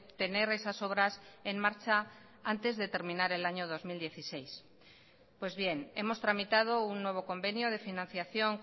tener esas obras en marcha antes de terminar el año dos mil dieciséis pues bien hemos tramitado un nuevo convenio de financiación